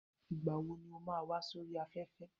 Ìgbà wo ni ó máa wá sóri afẹ́fẹ́